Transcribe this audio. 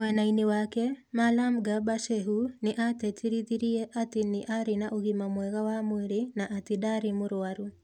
Mwena-inĩ wake, Malam Garba Shehu, nĩ atĩtĩrithĩtie atĩ nĩ arĩ na ũgima mwega wa mwĩrĩ na atĩ ndarĩ mũrwaru.